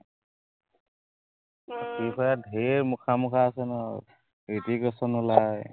ঢেৰ মখা মখা আছে নহয় আক, ঋত্বিক ৰোচন ওলায়